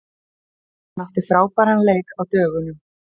Hann átti frábæran leik á dögunum.